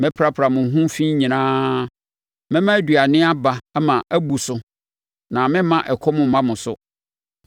Mɛprapra mo ho fi nyinaa. Mɛma aduane aba ama abu so na meremma ɛkɔm mma mo so.